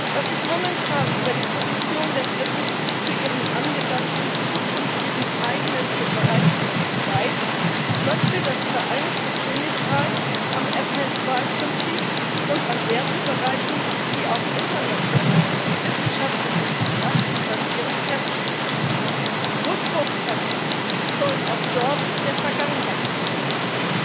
Was ich momentan über die Position der Briten zu ihrer angedachten zukünftigen eigenen Fischereipolitik weiß, möchte das Vereinigte Königreich am MSY Prinzip und an Wertebereichen, die auf internationalen und wissenschaftlichen Gutachten basieren, festhalten. Rückwurfpraktiken sollen auch dort der Vergangenheit angehören.